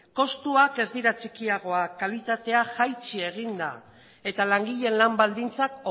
kostuak ez dira txikiagoak kalitatea jaitsi egin da eta langileen lan baldintzak